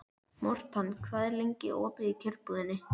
Mortan, hvað er lengi opið í Kjörbúðinni?